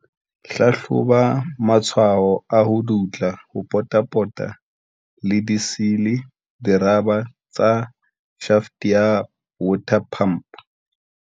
Hlahloba matshwao a ho dutla ho potapota le di-seal, dirabara, tsa shaft ya water pump.